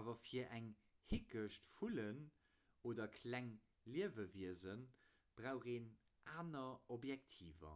awer fir eng hickecht vullen oder kleng liewewiese brauch een aner objektiver